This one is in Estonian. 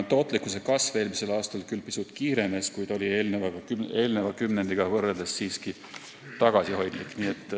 Tootlikkuse kasv eelmisel aastal küll pisut kiirenes, kuid oli eelneva kümnendiga võrreldes siiski tagasihoidlik.